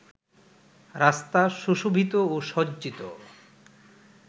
রাস্তা সুশোভিত ও সজ্জিত